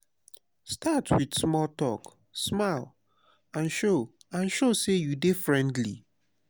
start with small talk smile and show and show say you dey friendly.